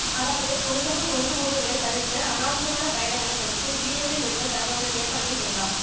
அதாவது பொதுமக்கள் ஒன்று கூடல்களைத் தவிர்த்து அநாவசியமான பயணங்களைத் தவிர்த்து வீடுகளில் இருந்து தங்களுடைய செயற்பாடுகளை செய்யலாம்